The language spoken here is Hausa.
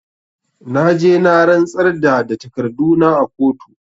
Na je na rantsar da da takarduna a kotu